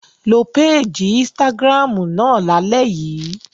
Lo péèjì Instagram náà lálẹ́ yìí!